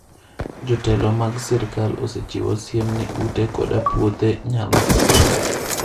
Jotelo mag sirkal osechiwo siem ni ute koda puothe nyalo kethore.